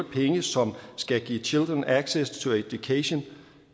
penge som skal give children access to education og